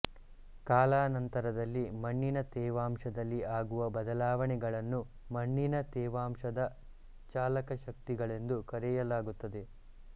ಕಾಲಾನಂತರದಲ್ಲಿ ಮಣ್ಣಿನ ತೇವಾಂಶದಲ್ಲಿ ಆಗುವ ಬದಲಾವಣೆಗಳನ್ನು ಮಣ್ಣಿನ ತೇವಾಂಶದ ಚಾಲಕಶಕ್ತಿಗಳೆಂದು ಕರೆಯಲಾಗುತ್ತದೆ